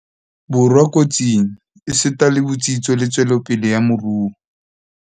Borwa ko tsing, esita le botsitso le tswelopele ya moruo.